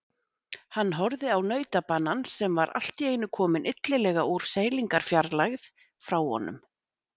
Hann horfði á nautabanann sem var allt í einu kominn illilega úr seilingarfjarlægð frá honum.